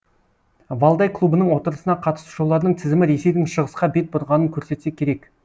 валдай клубының отырысына қатысушылардың тізімі ресейдің шығысқа бет бұрғанын көрсетсе керек